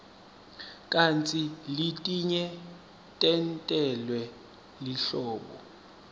kantsi letinye tentelwe lihlobo